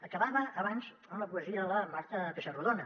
acabava abans amb la poesia de la marta pessarrodona